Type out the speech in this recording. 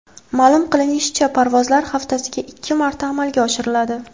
Ma’lum qilinishicha, parvozlar haftasiga ikki marta amalga oshiriladi.